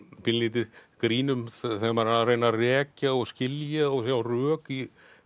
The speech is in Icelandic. pínulítið grín um þegar maður er að reyna að rekja og skilja og sjá rök í